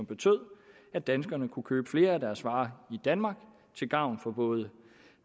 betød at danskerne kunne købe flere af deres varer i danmark til gavn for både